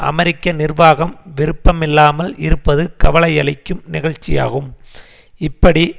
அமெரிக்க நிர்வாகம் விருப்பமில்லாமல் இருப்பது கவலையளிக்கும் நிகழ்ச்சியாகும் இப்படி